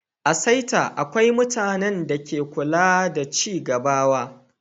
A'saita, akwai mutane da ke kulawa da cigabawa.